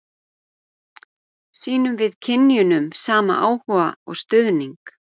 Sýnum við kynjunum sama áhuga og stuðning?